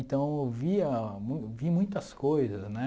Então eu via mu vi muitas coisas, né?